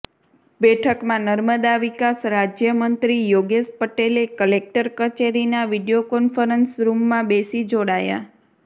બેઠકમાં નર્મદા વિકાસ રાજ્ય મંત્રી યોગેશ પટેલે કલેકટર કચેરીના વિડિયો કોન્ફરન્સ રૂમમાં બેસી જોડાયા